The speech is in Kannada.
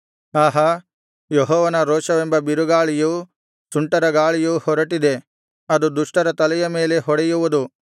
ಆಹಾ ಯೆಹೋವನ ರೋಷವೆಂಬ ಬಿರುಗಾಳಿಯು ಸುಂಟರಗಾಳಿಯು ಹೊರಟಿದೆ ಅದು ದುಷ್ಟರ ತಲೆಯ ಮೇಲೆ ಹೊಡೆಯುವುದು